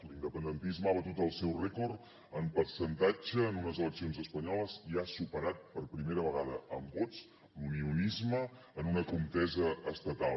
l’independentisme ha batut el seu rècord en percentatge en unes eleccions espanyoles i ha superat per primera vegada en vots l’unionisme en una contesa estatal